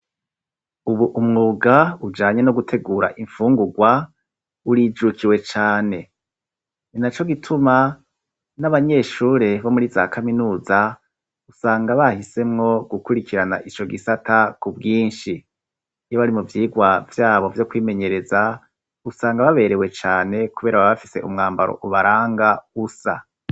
ubu umwuga ujanye no gutegura imfungugwa urijukiwe cane ninaco gituma n'abanyeshure bomuri za kaminuza usanga bahisemwo gukurikirana ijo gisata ku bwinshi iyobarimuvyigwa vyabo vyo kwimenyereza usanga baberewe cane kubera babafise umwambaro ubaranga usa